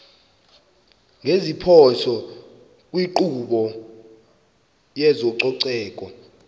ngeziphoso kwinkqubo yezococeko